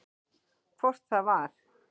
Hvort það var!